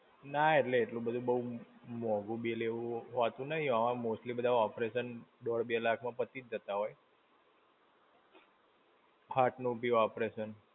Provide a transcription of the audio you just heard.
ના એટલે, એટલું બધું બહુ મોંઘુ bill એવું હોતું નહિ, હા mostly બધા operation દોઢ-બે લાખ માં પતી જ જતા હોય. Heart નું બી operation.